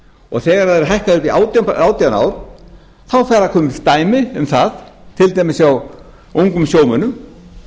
og þegar þær eru hækkaðar upp í átján ár fara að koma upp dæmi um það til dæmis hjá ungum sjómönnum